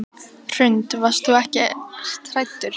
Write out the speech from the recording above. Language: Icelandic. Hrund: Og varst þú ekkert hræddur?